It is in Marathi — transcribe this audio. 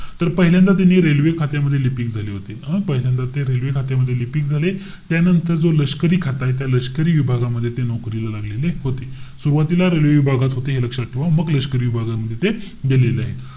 तर पहिल्यांदा त्यांनी railway खात्यामध्ये लिपिक झाले होते. हं? पहिल्यांदा ते railway खात्यामध्ये लिपिक झाले. त्यानंतर जो लष्करी खाता आहे, त्या लष्करी विभागामध्ये ते नौकरीला लागलेले होते. सुरवातीला railway विभागात होते हे लक्षात ठेवा. मग लष्करी विभागामध्ये ते गेलेले आहे.